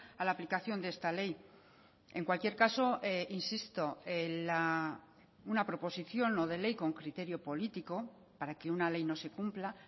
a la aplicación de esta ley en cualquier caso insisto una proposición no de ley con criterio político para que una ley no se cumpla